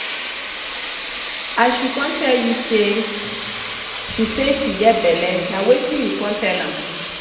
as she come tell you say she say she get belle na wetin you come tell am?